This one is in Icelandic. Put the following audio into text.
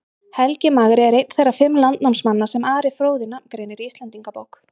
Helgi magri er einn þeirra fimm landnámsmanna sem Ari fróði nafngreinir í Íslendingabók.